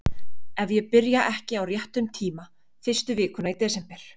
Ef ég byrja ekki á réttum tíma. fyrstu vikuna í desember.